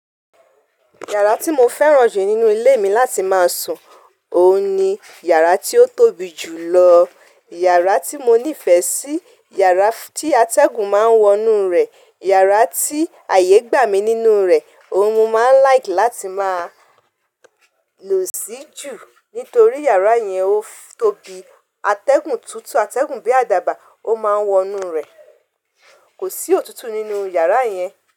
Yàrá tí mo fẹ́ràn jù nínú ilé mi láti máa sùn, òun ni yàrá tí ó tóbi jù lọ. Yàrá tí mo nífẹ̀ẹ́ sí, yàrá tí atẹ́gùn máa ń wọnú rẹ̀, yàrá tí àyè gbà mí nínú rẹ̀. Òun ni mo máa like láti máa lò sí jù nítorí yàrá yẹn ó tóbi. Atẹ́gùn tútù, atẹ́gùn bí àdàbà, ó máa ń wọnú rẹ̀. Kò sí òtútù nínú yàrá yẹn.